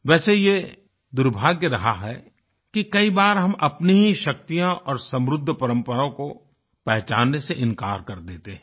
वैसे ये दुर्भाग्य रहा है कि कई बार हम अपनी ही शक्तियाँ और समृद्ध परम्परा को पहचानने से इंकार कर देते हैं